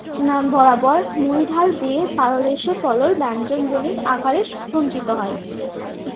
উম বরাবর মহীঢাল বেয়ে পাদদেশে পলল ব্যঞ্জন আকারে সঞ্চিত হয়।